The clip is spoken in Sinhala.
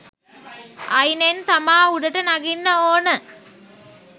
අයිනෙන් තමා උඩට නගින්න ඕන.